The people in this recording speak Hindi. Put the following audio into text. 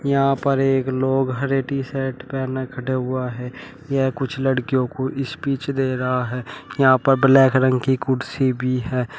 यहां पर एक लोग हरे टी शर्ट पहने खड़े हुआ है यह कुछ लड़कियों को स्पीच दे रहा है यहां पर ब्लैक रंग की कुर्सी भी है।